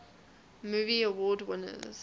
movie award winners